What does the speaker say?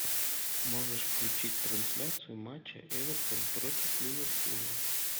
можешь включить трансляцию матча эвертон против ливерпуля